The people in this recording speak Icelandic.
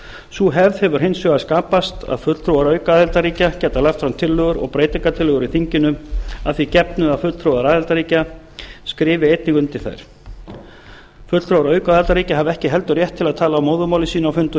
sú hefð hefur hins vegar skapast að fulltrúar aukaaðildarríkja geta lagt fram tillögur og breytingartillögur í þinginu að því gefnu að fulltrúar aðildarríkja skrifi einnig undir þær fulltrúar aukaaðildarríkja hafa ekki heldur rétt til að tala á móðurmáli sínu á fundum